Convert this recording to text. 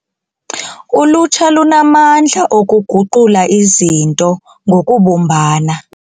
Ulutsha lunamandla okuguqula izinto ngokubumbana.